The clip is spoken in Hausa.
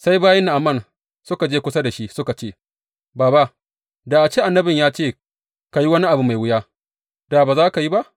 Sai bayin Na’aman suka je kusa da shi suka ce, Baba, da a ce annabin ya ce ka yi wani abu mai wuya, da ba za ka yi ba?